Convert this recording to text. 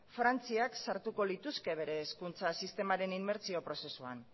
frantziak sartuko lituzke bere hezkuntza sistemaren inmertsio prozesuan